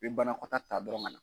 I bɛ banakɔtaa ta dɔrɔn ka